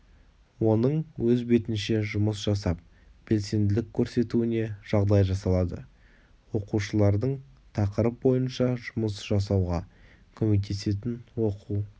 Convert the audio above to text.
оның өз бетінше жұмыс жасап белсенділік көрсетуіне жағдай жасалады оқушылардың тақырып бойынша жұмыс жасауға көмектесетін оқу